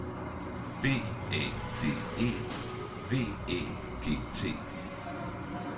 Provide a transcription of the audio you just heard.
B A D E V Æ G T